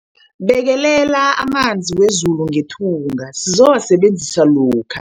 Bekelela amanzi wezulu ngethunga sizowasebenzisa lokha.